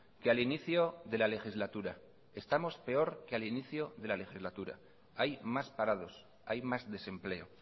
que al inicio de la legislatura estamos peor que al inicio de la legislatura hay más parados hay más desempleo